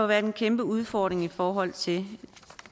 været en kæmpe udfordring i forhold til